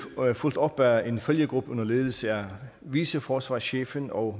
fulgt op af en følgegruppe under ledelse af viceforsvarschefen og